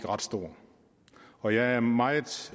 ret stor og jeg er meget